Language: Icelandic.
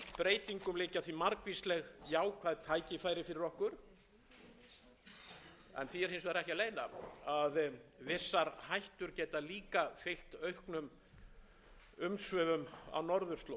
í þessum breytingum liggja því margvísleg jákvæð tækifæri fyrir okkur en því er hins vegar ekki að leyna að vissar hættur geta líka fylgt auknum umsvifum á norðurslóðum umhverfisslys annaðhvort við vinnslu eða flutning á eldsneyti gæti haft alvarlegar afleiðingar fyrir afkomu